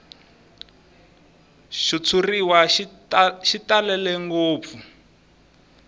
xitshuriwa xi talele ngopfu